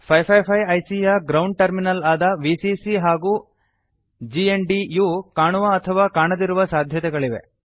555 IC ಯ ground terminal ಆದ VCC ಹಾಗೂ ಜಿಎನ್ಡಿ ಯು ಕಾಣುವ ಅಥವಾ ಕಾಣದಿರುವ ಸಾಧ್ಯತೆಗಳಿವೆ